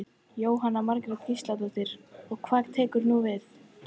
Jóhanna Margrét Gísladóttir: Og hvað tekur núna við?